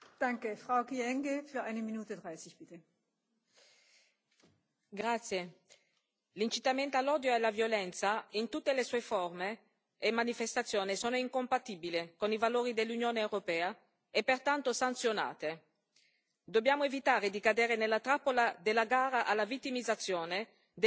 Signora Presidente, onorevoli colleghi, l'incitamento all'odio e alla violenza in tutte le sue forme e manifestazioni è incompatibile con i valori dell'Unione europea e, pertanto, sanzionato. Dobbiamo evitare di cadere nella trappola della gara alla vittimizzazione delle diverse forme di discriminazione.